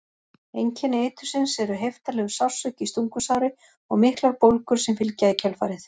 Einkenni eitursins eru heiftarlegur sársauki í stungusári og miklar bólgur sem fylgja í kjölfarið.